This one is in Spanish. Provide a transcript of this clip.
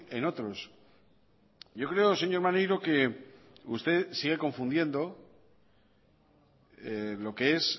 en otros yo creo señor maneiro que usted sigue confundiendo lo que es